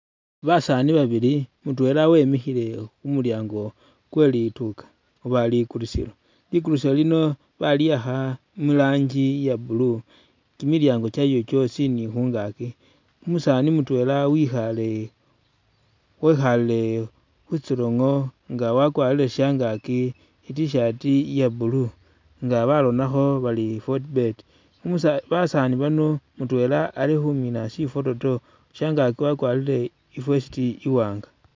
Basani babili mutwela wemikhile khumulyango kwe linduka oba likulisilo, likulisilo lino baliyakha mu'ranjii iya blue ni kimilyangi kwayo kyosi ni khungaki umusani mutwela wikhale wekhale khwitsolongo nga wakwarile shangaki itishati iya blue nga baronakho bari fortbet umusa basani bano mutwela alikhumina shifototo shangaki wakwarile i'vest i'wanga